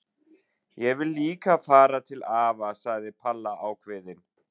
Ég vil líka fara til afa! sagði Palla ákveðin.